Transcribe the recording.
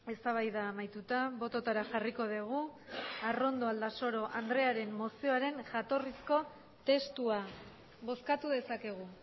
eztabaida amaituta bototara jarriko dugu arrondo aldasoro andrearen mozioaren jatorrizko testua bozkatu dezakegu